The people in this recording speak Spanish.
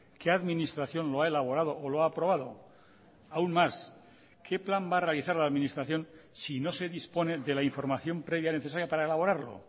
qué administración lo ha elaborado o lo ha aprobado aún más qué plan va a realizar la administración si no se dispone de la información previa necesaria para elaborarlo